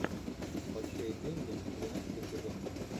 большие деньги двенадцатый сезон